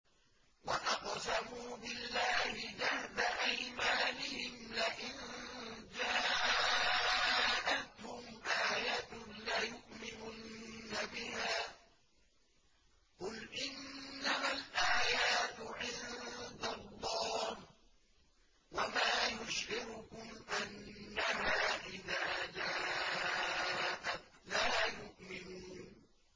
وَأَقْسَمُوا بِاللَّهِ جَهْدَ أَيْمَانِهِمْ لَئِن جَاءَتْهُمْ آيَةٌ لَّيُؤْمِنُنَّ بِهَا ۚ قُلْ إِنَّمَا الْآيَاتُ عِندَ اللَّهِ ۖ وَمَا يُشْعِرُكُمْ أَنَّهَا إِذَا جَاءَتْ لَا يُؤْمِنُونَ